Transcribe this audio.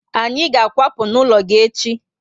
Anyị ga akwapu n'ụlọ gị echi